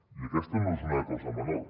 i aquesta no és una cosa menor